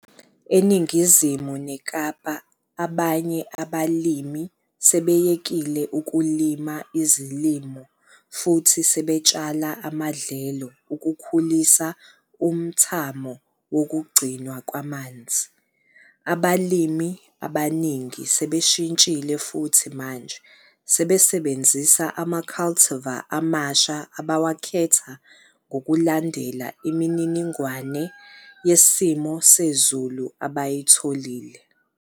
Eningizimu neKapa abanye abalimi sebeyekile ukulima izilimo futhi sebetshala amadlelo ukukhulisa umthamo wokugcinwa kwamanzi. Abalimi abaningi sebeshintshile futhi manje sebesebenzisa ama-cultivar amasha abawakhetha ngokulandela imininingwane yesimo sezulu abayitholile.